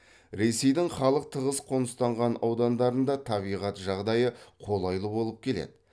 ресейдің халық тығыз қоныстанған аудандарында табиғат жағдайы қолайлы болып келеді